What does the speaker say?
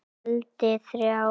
Negldi þrjá!!!